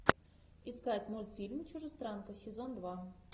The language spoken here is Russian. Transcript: искать мультфильм чужестранка сезон два